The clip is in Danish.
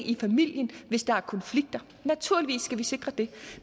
i familien hvis der er konflikter naturligvis skal vi sikre det